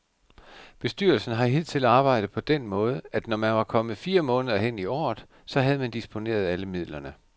Bestyrelsen har hidtil arbejdet på den måde, at når man var kommet fire måneder hen i året, så havde man disponeret alle midlerne.